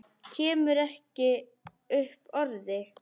Kemur ekki upp orði.